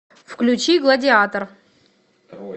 включи гладиатор